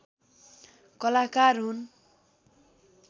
कलाकार हुन्